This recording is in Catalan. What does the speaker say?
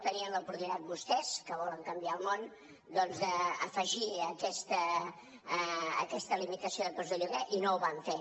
tenien l’oportunitat vostès que volen canviar el món doncs d’afegir aquesta limitació de preus de lloguer i no ho van fer